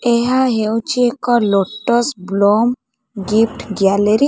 ଏହା ହେଉଛି ଏକ ଲୋଟସ୍ ବ୍ଲୋମ ଗିଫ୍ଟ ଗ୍ୟାଲେରୀ ।